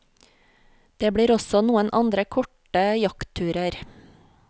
Det blir også noen andre korte jaktturer.